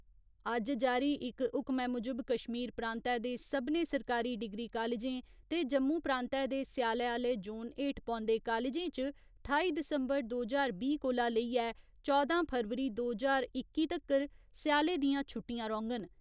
अज्ज जारी इक हुक्मै मुजब कश्मीर प्रांतै दे सभनें सरकारी डिग्री कालजें ते जम्मू प्रांतै दे स्याले आह्‌ले जोन हेठ पौन्दे कालजें च ठाई दिसम्बर दो ज्हार बीह् कोला लेइयै चौदां फरवरी दो ज्हार इक्की तक्कर स्याले दियां छुट्टियां रौह्‌ङन,